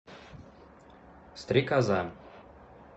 стрекоза